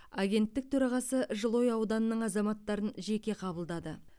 агенттік төрағасы жылыой ауданының азаматтарын жеке қабылдады